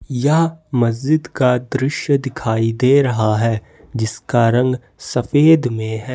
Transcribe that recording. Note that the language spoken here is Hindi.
यह मस्जिद का दृश्य दिखाई दे रहा है जिसका रंग सफेद में है।